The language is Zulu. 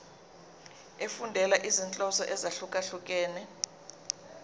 efundela izinhloso ezahlukehlukene